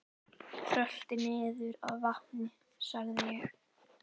Rölti niður að vatni sagði ég.